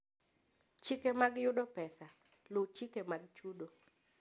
Chike mag Yudo Pesa: Luw chike mag chudo.